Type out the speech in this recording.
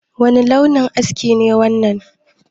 Wani launin aski ne wannan?